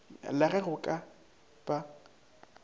la ge go ka ba